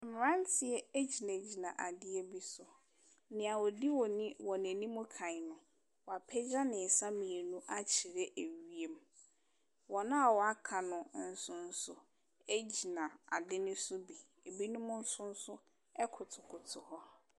Mmeranteɛ gyinagyina adeɛ bi so. Nea ɔde wɔn ani wɔn anim kan no, wapagya ne nsa mmienu akyerɛ ewiem. Wɔn a wɔaka no nso so gyina ade no so bi. Binom nso nso kotokoto hɔ.